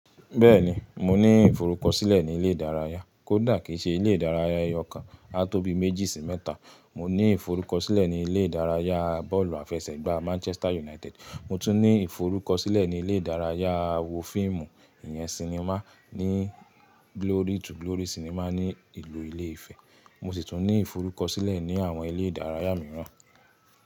Bẹ́ẹ̀ni, mo ní ìforúkọ̀sílẹ̀ ni ilẹ̀ ìdáràyà, kó dà kí í ṣẹ̀ ilẹ̀ ìdáràyà ẹyọkan, a tó bí méjì sí mẹ́ta. Mọ ní ìforúkọ̀sílẹ̀ ni ilẹ̀ ìdáràyà bọ́ọ̀lù àfẹ́sẹ̀gbà Manchester United, mọ̀ tún ní ìforúkọ̀sílẹ̀ ni ilẹ̀ ìdáràyà wo fíìmù, ìyẹn sinimá, ní Glory to Glory sinimá ní ìlú ìlẹ́ ifẹ̀. Mọ̀ sì tún ní ìforúkọ̀sílẹ̀ ni àwọn ilẹ̀ ìdáràyà mìíràn.